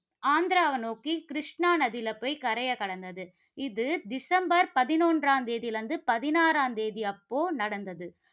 ஆந்திராவை நோக்கி கிருஷ்ணா நதியில போய் கரையை கடந்தது. இது டிசம்பர் பதினொன்றாம் தேதியிலிருந்து பதினாறாம் தேதி அப்போ நடந்தது.